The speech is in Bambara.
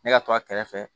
Ne ka to a kɛrɛfɛ